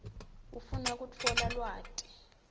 ufuna kutfola lwati